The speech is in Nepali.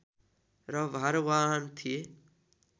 र भारवाहन थिए